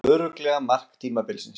Örugglega mark tímabilsins